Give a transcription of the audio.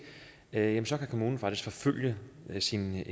ja så kan kommunen faktisk forfølge sine